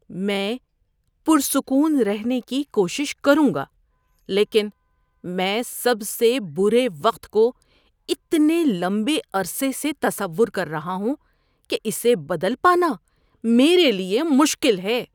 میں پرسکون رہنے کی کوشش کروں گا لیکن میں سب سے برے وقت کو اتنے لمبے عرصے سے تصور کر رہا ہوں کہ اسے بدل پانا میرے لیے مشکل ہے۔